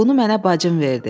Bunu mənə bacım verdi.